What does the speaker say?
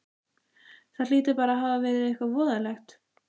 Það hlýtur bara að hafa verið eitthvað voðalegt.